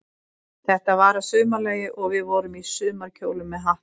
Þetta var að sumarlagi, og við vorum í sumarkjólum með hatta.